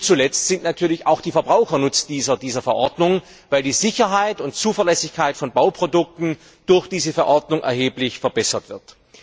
Und letztlich sind natürlich auch die Verbraucher Nutznießer dieser Verordnung, weil die Sicherheit und Zuverlässigkeit von Bauprodukten durch diese Verordnung erheblich verbessert wird.